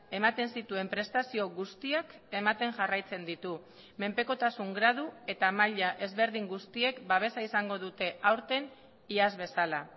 ematen zituen prestazio guztiak ematen jarraitzen ditu menpekotasun gradu eta maila ezberdin guztiek babesa izango dute aurten iaz bezala